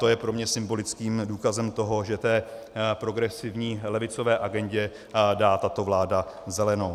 To je pro mě symbolickým důkazem toho, že té progresivní levicové agendě dá tato vláda zelenou.